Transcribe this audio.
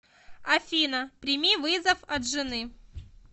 афина прими вызов от жены